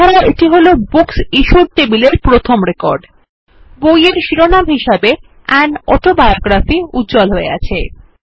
এছাড়াও এটি হল বুকসিশ্যুড টেবিলের প্রথম রেকর্ড বইয়ের শিরোনাম হিসাবে আন অটোবায়োগ্রাফি উজ্জ্বল হয়ে আছে